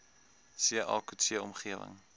ca coetzee omgewing